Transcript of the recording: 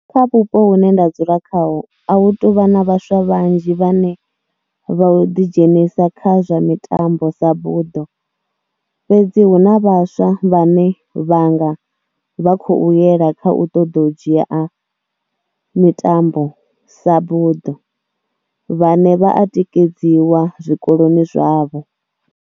Kha vhupo hune nda dzula khaho a hu tou vha na vhaswa vhanzhi vhane vha u ḓidzhenisa kha zwa mitambo sa buḓo fhedzi hu na vhaswa vhane vhanga vha khou yela kha u ṱoḓa u dzhia a mitambo sa buḓo vhane vha a tikedziwa zwikoloni zwavho.